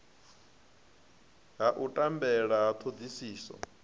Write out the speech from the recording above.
ha u tambela ha thodisiso